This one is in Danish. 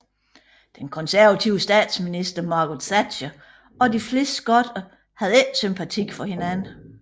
Den konservative statsminister Margaret Thatcher og de fleste skotter havde ikke sympati for hinanden